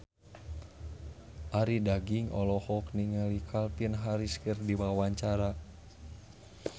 Arie Daginks olohok ningali Calvin Harris keur diwawancara